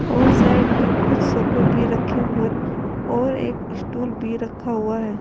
और साइड में कुछ सोफे भी रखे हुए और एक स्टूल भी रखा हुआ है।